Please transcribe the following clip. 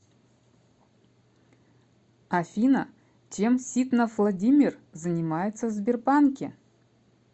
афина чем ситнов владимир занимается в сбербанке